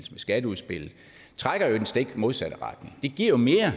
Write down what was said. skatteudspillet trækker i den stik modsatte retning det giver jo mere